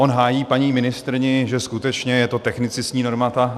On hájí paní ministryni, že skutečně je to technicistní norma.